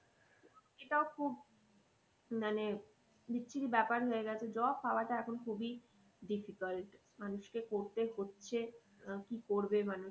এটাও খুব মানে বিশ্রী ব্যাপার হয়ে গেছে। job পাওয়াটা এখন খুবই difficult মানুষকে করতে হচ্ছে আহ কি করবে মানুষ